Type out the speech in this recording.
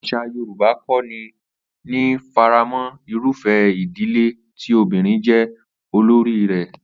Às̩à Yorùbá kò ní faramó̩ irúfé̩ ìdílé tí obìnrin jé̩ olórí rè̩